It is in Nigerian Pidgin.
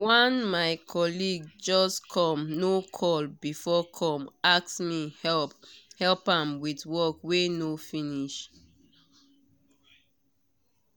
one my colleague just come no call before come ask me help help am with work wey no finish.